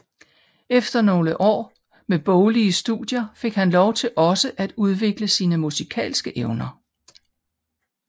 Efter nogle år med boglige studier fik han lov til også at udvikle sine musikalske evner